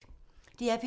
DR P3